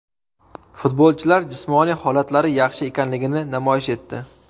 Futbolchilar jismoniy holatlari yaxshi ekanligini namoyish etdi.